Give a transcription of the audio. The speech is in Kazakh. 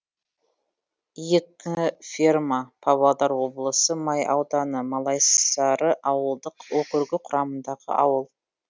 екі ферма павлодар облысы май ауданы малайсары ауылдық округі құрамындағы ауыл